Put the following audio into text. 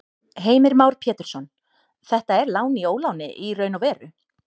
Heimir Már Pétursson: Þetta er lán í óláni í raun og veru?